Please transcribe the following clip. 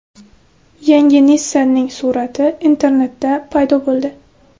Yangi Nissan’ning surati internetda paydo bo‘ldi.